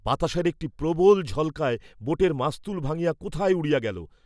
বাতাসের একটি প্রবল ঝল্কায় বোটের মাস্তুল ভাঙ্গিয়া কোথায় উড়িয়া গেল।